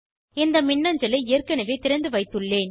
இந்த மின்னஞ்சலை ஏற்கனவே திறந்துவைத்துள்ளேன்